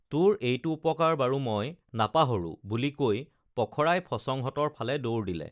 তোৰ এইটো উপকাৰ বাৰু মই নাপাহৰো বুলি কৈ পখৰাই ফচঙহঁতৰ ফালে দৌৰ দিলে